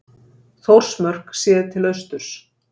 Þórsmörk séð til austurs.